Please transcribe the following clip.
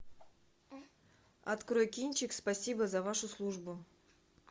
открой кинчик спасибо за вашу службу